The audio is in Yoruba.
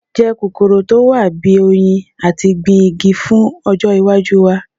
Je kokoro to wa bi “oyin” ati gbin igi fun ojo iwaju wa